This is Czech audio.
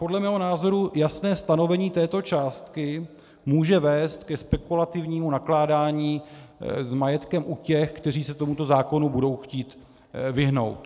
Podle mého názoru jasné stanovení této částky může vést ke spekulativnímu nakládání s majetkem u těch, kteří se tomuto zákonu budou chtít vyhnout.